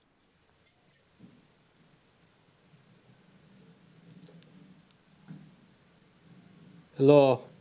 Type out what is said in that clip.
Hello